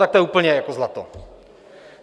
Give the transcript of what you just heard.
Tak to je úplně jako zlato.